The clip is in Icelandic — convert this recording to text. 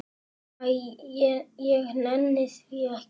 Æ, ég nenni því ekki.